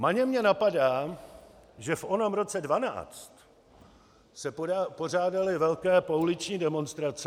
Maně mě napadá, že v onom roce 2012 se pořádaly velké pouliční demonstrace.